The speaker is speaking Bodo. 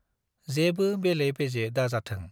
जेबो बेले बेजे दाजाथों ।